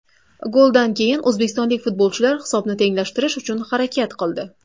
Goldan keyin o‘zbekistonlik futbolchilar hisobni tenglashtirish uchun harakat qildi.